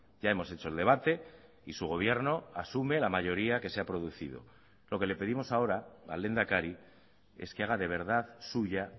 ya hemos hecho el debate y su gobierno asume la mayoría que se ha producido lo que le pedimos ahora al lehendakari es que haga de verdad suya